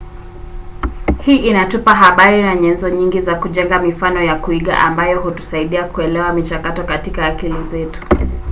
hii inatupa habari na nyenzo nyingi za kujenga mifano ya kuiga ambayo hutusaidia kuelewa michakato katika akili zetu